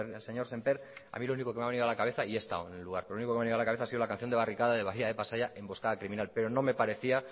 el señor semper a mí lo único que me ha venido a la cabeza y he estado en el lugar pero lo único que me ha venido a la cabeza ha sido la canción de barricada de bahía de pasaia emboscada criminal pero no me parecía